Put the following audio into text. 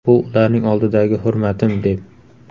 Bu ularning oldidagi hurmatim’, deb”.